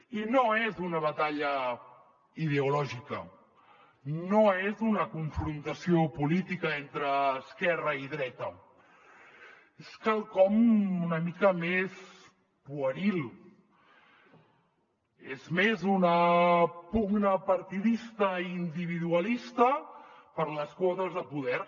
i no és una batalla ideològica no és una confrontació política entre esquerra i dreta és quelcom una mica més pueril és més una pugna partidista i individualista per les quotes de poder